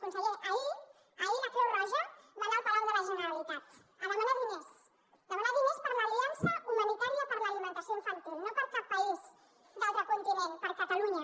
conseller ahir ahir la creu roja va anar al palau de la generalitat a demanar diners demanar diners per l’aliança humanitària per a l’alimentació infantil no per a cap país d’altre continent per a catalunya